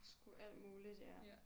Skulle alt muligt ja